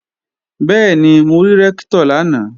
Bẹ́ẹ̀ni, mo rí Rẹ́ktọ̀ lánàá